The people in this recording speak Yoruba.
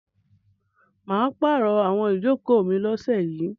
Mà á pàrọ̀ àwọn ìjókòó mi lọ́sẹ̀ yìí.